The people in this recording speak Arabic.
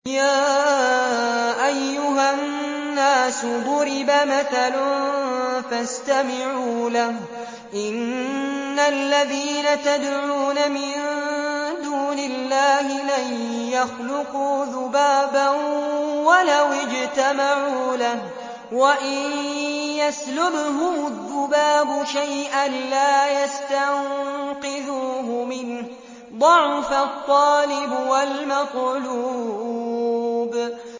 يَا أَيُّهَا النَّاسُ ضُرِبَ مَثَلٌ فَاسْتَمِعُوا لَهُ ۚ إِنَّ الَّذِينَ تَدْعُونَ مِن دُونِ اللَّهِ لَن يَخْلُقُوا ذُبَابًا وَلَوِ اجْتَمَعُوا لَهُ ۖ وَإِن يَسْلُبْهُمُ الذُّبَابُ شَيْئًا لَّا يَسْتَنقِذُوهُ مِنْهُ ۚ ضَعُفَ الطَّالِبُ وَالْمَطْلُوبُ